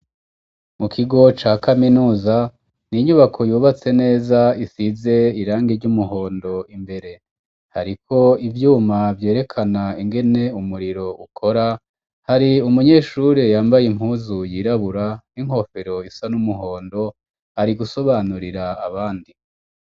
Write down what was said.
Mu kigo ca kaminuza ni inyubako yubatse neza isize irangi ry'umuhondo imbere hariko ivyuma vyerekana ingene umuriro ukora hari umunyeshure yambaye impuzu yirabura inkofero isa n'umuhondo ari gusobanurira abandi.